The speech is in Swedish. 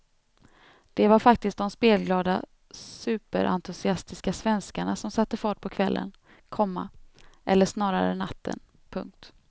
Det var faktiskt de spelglada superentusiastiska svenskarna som satte fart på kvällen, komma eller snarare natten. punkt